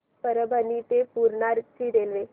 परभणी ते पूर्णा ची रेल्वे